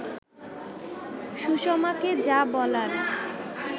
সুষমাকে যা বলার